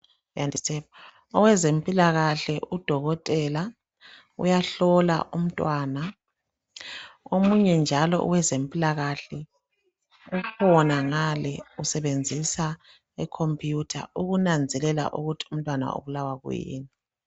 Oweze mpilakahle udokotela uyahlolwa umtwana. Omunye njalo oweze mpilakahle, ukhona ngale usebenzisa i computer ukunanzelela ukuthi umtwana ubulawa kuyini.